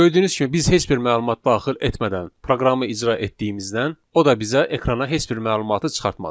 Gördüyünüz kimi biz heç bir məlumat daxil etmədən proqramı icra etdiyimizdən, o da bizə ekrana heç bir məlumatı çıxartmadı.